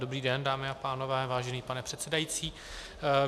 Dobrý den, dámy a pánové, vážený pane předsedající.